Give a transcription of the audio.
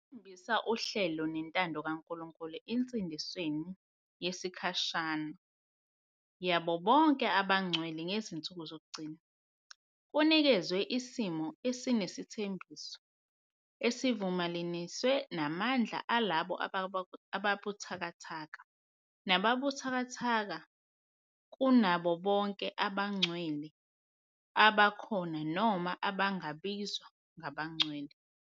ekhombisa uhlelo nentando kaNkulunkulu ensindisweni yesikhashana yabo bonke abangcwele ngezinsuku zokugcina-Kunikezwe isimiso esinesithembiso, esivumelaniswe namandla alabo ababuthakathaka. nababuthakathaka kunabo bonke abangcwele, abakhona noma abangabizwa ngabangcwele.